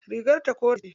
Rigar ta kore ce.